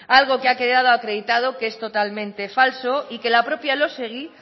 algo que ha quedado acreditado que es totalmente falso y que la propia elósegui